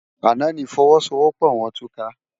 Àná ni ifòwòsówòpò wòn túká